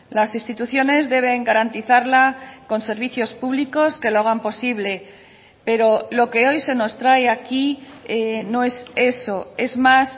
las instituciones deben garantizarla con servicios públicos que lo hagan posible pero lo que hoy se nos trae aquí no es eso es más